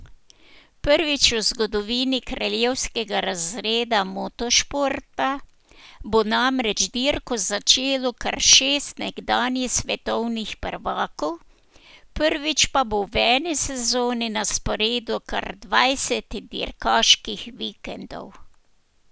Prvič v zgodovini kraljevskega razreda motošporta bo namreč dirko začelo kar šest nekdanjih svetovnih prvakov, prvič pa bo v eni sezoni na sporedu kar dvajset dirkaških vikendov.